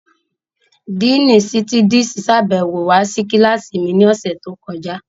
Díìnì Sítídísì sàbẹ̀wo wá sí kílásì mi ní ọ̀sẹ̀ tó kọjá